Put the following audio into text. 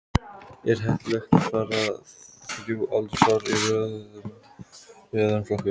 Er heppilegt að hafa þrjú aldursár í öðrum flokki?